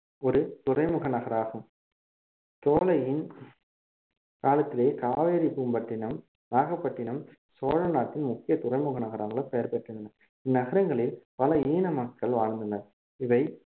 ஒரு துறைமுக நகராகும் தோலையின் காலத்திலே காவேரி பூம்பட்டினம் நாகப்பட்டினம் சோழநாட்டின் முக்கிய துறைமுக நகரங்களாக பெயர் பெற்றுள்ளன இந்நகரங்களில் பல மக்கள் வாழ்ந்தனர் இவை